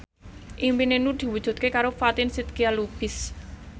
impine Nur diwujudke karo Fatin Shidqia Lubis